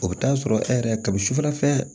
O bɛ taa sɔrɔ e yɛrɛ ka bi sufɛ